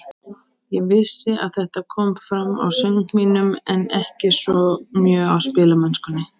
Ég vissi að þetta kom fram á söng mínum, en ekki svo mjög á spilamennskunni.